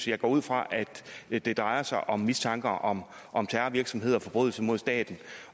jeg går ud fra at det drejer sig om mistanker om om terrorvirksomhed og forbrydelser mod staten